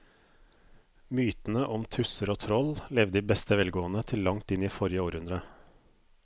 Mytene om tusser og troll levde i beste velgående til langt inn i forrige århundre.